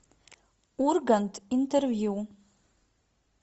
ургант интервью